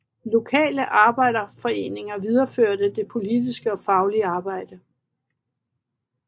Lokale arbejderforeninger videreførte det politiske og faglige arbejde